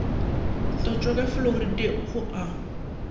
tlotšwa ka fluoride go a